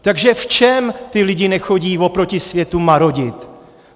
Takže v čem ti lidé nechodí oproti světu marodit?